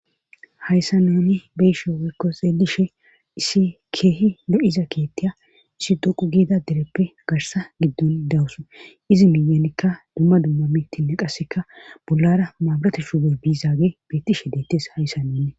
hayssa neeni beyishe waykko xeelishe issi keehi lo7iza keettiya isi doqu giida dereppe garsa giddon dawusu izi miyenikka dumma dumma mittinne qasseka bollara maaburate shuubey biizaage beettishe deettes hayssa nenne